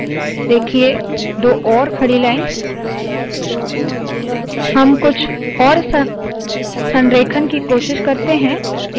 देखिए दो और खड़ी लाइन्स हम कुछ और अलग संरेखण की कोशिश करते है